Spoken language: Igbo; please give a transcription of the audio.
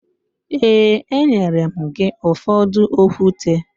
Ee, enyere m gị ụfọdụ okwute